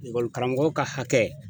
Ekɔlikaramɔgɔw ka hakɛ